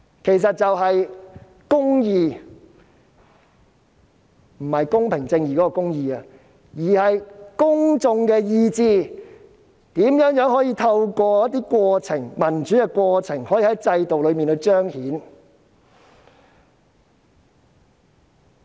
其實是"公意"，不是公平正義的"公義"，而是公眾的意志如何能透過民主的過程，在制度中彰顯。